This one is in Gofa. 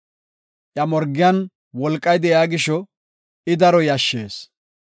Iya morgiyan wolqay de7iya gisho, I daro yashshees.